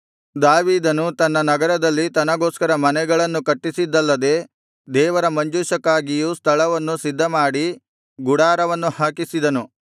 ದಾವೀದನು ತನ್ನ ನಗರದಲ್ಲಿ ತನಗೋಸ್ಕರ ಮನೆಗಳನ್ನು ಕಟ್ಟಿಸಿದ್ದಲ್ಲದೆ ದೇವರ ಮಂಜೂಷಕ್ಕಾಗಿಯೂ ಸ್ಥಳವನ್ನು ಸಿದ್ಧಮಾಡಿ ಗುಡಾರವನ್ನು ಹಾಕಿಸಿದನು